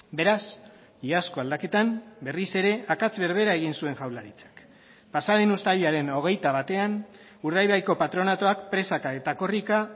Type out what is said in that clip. beraz iazko aldaketan berriz ere akats berbera egin zuen jaurlaritzak pasa den uztailaren hogeita batean urdaibaiko patronatuak presaka eta korrika